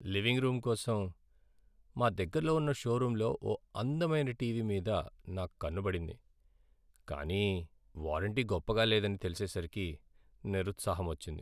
Living room కోసం మా దగ్గరలో ఉన్న షోరూమ్లో ఓ అందమైన టీవీ మీద నా కన్ను పడింది, కాని వారంటీ గొప్పగా లేదని తెలిసేసరికి నిరుత్సాహమొచ్చింది.